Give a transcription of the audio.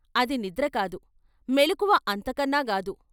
అది నిద్రకాదు, మెలకువ అంతకన్నా గాదు.